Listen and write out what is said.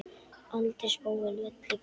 aldrei spóinn vellir graut.